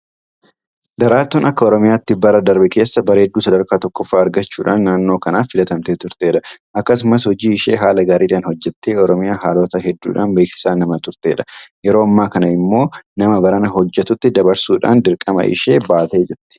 Daraartuun akka Oromiyaatti bara darbe keessa bareedduu sadarkaa tokkoffaa argachuudhaan naannoo kanaaf filamtee turtedha. Akkasumas hojii ishee haala gaariidhaan hojjettee Oromiyaa haalota hedduudhaan beeksisaa nama turtedha. Yeroo ammaa kana immoo nama barana hojjetutti dabarsuudhaan dirqama ishee baatee jirti.